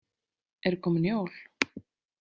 Eru komin jól?